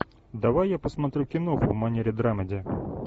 давай я посмотрю киноху в манере драмеди